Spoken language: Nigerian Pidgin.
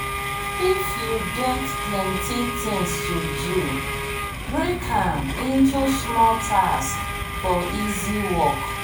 if you get plenty things to do break am into small tasks for easy work.